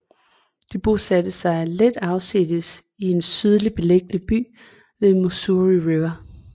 De bosatte sig lidt afsides i en sydligt beliggende by ved Missouri River